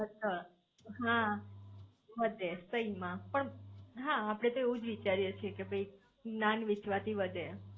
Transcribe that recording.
હા વધે સહી માં પણ હા આપડે તો એવુજ વિચારીયે છે કે જ્ઞાન વેચવા થી વધે